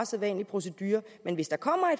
sædvanlige procedure men hvis der kommer